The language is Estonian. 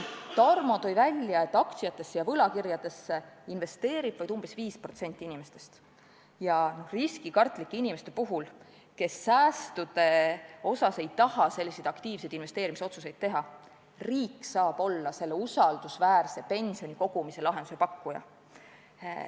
Tarmo tõi välja, et aktsiatesse ja võlakirjadesse investeerib vaid umbes 5% inimestest ja riskikartlike inimeste puhul, kes säästude kasutamisel ei taha aktiivse investeerimise otsuseid teha, saab riik olla usaldusväärse pensionikogumise lahenduse pakkuja.